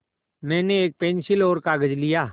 मैंने एक पेन्सिल और कागज़ लिया